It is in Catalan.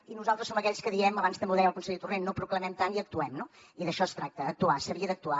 i nosaltres som aquells que diem abans també ho deia el conseller torrent no proclamem tant i actuem no i d’això es tracta actuar s’havia d’actuar